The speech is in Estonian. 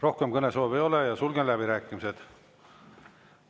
Rohkem kõnesoove ei ole, sulgen läbirääkimised.